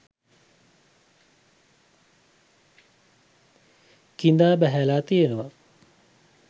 කිඳා බැහැලා තියෙනවා